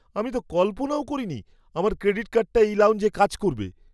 আমি তো কল্পনাও করিনি আমার ক্রেডিট কার্ডটা এই লাউঞ্জে কাজ করবে!